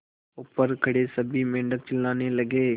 ऊपर खड़े सभी मेढक चिल्लाने लगे